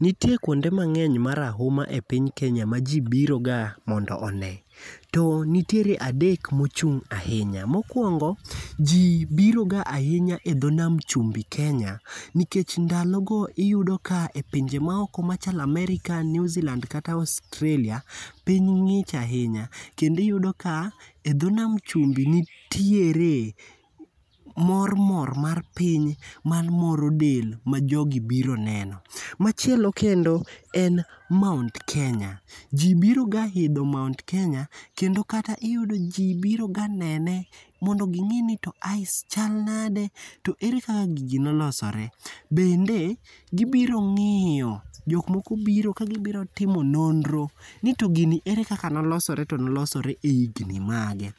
nitie kuonde mang'eny marahuma e piny kenya ma ji biro ga mondo one, to nitiere adek mochung' ahinya, mokongo ji biro ga ahinya e tho nam chubi kenya, nikech ndalo go iyudo ka e pinje maoko machalo Aerika ,Newzealand kata Australia piny ng'ich ahinya kendo iyudo ka piny ng'ich ahinya kendo iyudo ka tho na chumbi mor mor mar piny mamoro del ma jogi biro neno, achielo kendo en mount kenya ji biro ga idho mount kenya kendo kata ji biro ga nene mondo ging'eni to ice chal nade to ere kaka gigi nolosore, bende gibiro ng'iyo jok oko biro ka gibiro timo nonro ni to gini era kaka nolosore to nolosore e higni age,